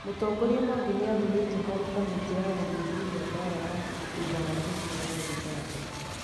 Mũtongoria Mwangi nĩ athurĩtwo harĩ kamĩtĩ ya gũthuthuria mbaara ya thutha wa gĩthurano Zimbabwe